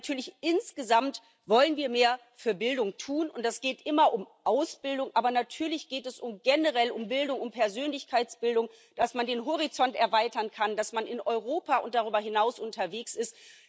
Aber natürlich, insgesamt wollen wir mehr für Bildung tun, und es geht immer um Ausbildung, aber natürlich geht es generell um Bildung und Persönlichkeitsbildung, dass man den Horizont erweitern kann, dass man in Europa und darüber hinaus unterwegs ist.